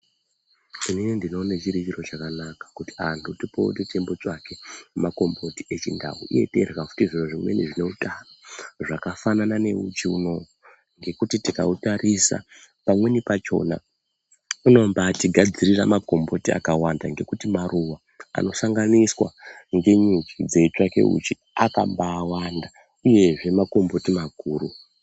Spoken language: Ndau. Inini ndinoone chiri chiro chakanaka kuti antu tipote teimbotsvake makomboti echindau uye teirya futi zviro zvimweni zvineutano ,zvakafanana neuchi unowu, ngekuti tikautarisa ,pamweni pachona unombaatigadzirira makomboti akawanda ngekuti maruwa anosanganiswa ngenyuchi dzeitsvake uchi akambaawanda uyezve makomboti makuru.